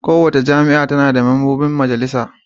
Kowace jami'a tana da mambobin majalisa.